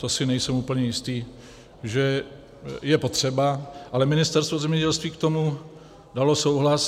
To si nejsem úplně jistý, že je potřeba, ale Ministerstvo zemědělství k tomu dalo souhlas.